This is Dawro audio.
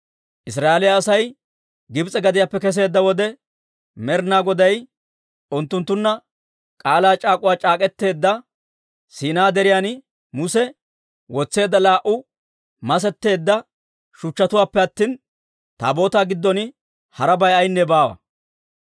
Israa'eeliyaa Asay Gibs'e gadiyaappe kesseedda wode, Med'inaa Goday unttunttunna k'aalaa c'aak'uwaa c'aak'k'eteedda Siinaa Deriyan Muse wotseedda laa"u masetteedda shuchchatuwaappe attina, Taabootaa giddon harabay ayaynne baawa.